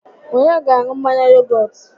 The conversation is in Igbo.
Onye ga-aṅụ mmanya yogọt?